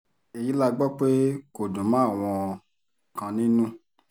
èyí la gbọ́ pé kò dùn mọ́ àwọn kan nínú